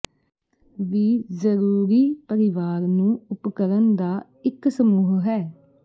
ਵੀ ਜ਼ਰੂਰੀ ਪਰਿਵਾਰ ਨੂੰ ਉਪਕਰਣ ਦਾ ਇੱਕ ਸਮੂਹ ਹੈ